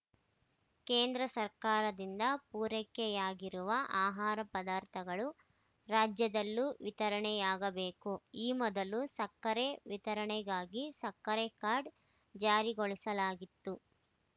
ಕೇಂದ್ರ ಸರ್ಕಾರದಿಂದ ಪೂರೈಕೆಯಾಗಿರುವ ಆಹಾರ ಪದಾರ್ಥಗಳು ರಾಜ್ಯದಲ್ಲೂ ವಿತರಣೆಯಾಗಬೇಕು ಈ ಮೊದಲು ಸಕ್ಕರೆ ವಿತರಣೆಗಾಗಿ ಸಕ್ಕರೆ ಕಾರ್ಡ್‌ ಜಾರಿಗೊಳಿಸಲಾಗಿತ್ತು